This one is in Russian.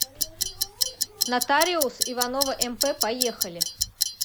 нотариус иванова мп поехали